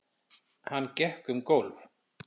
Hann gekk um gólf.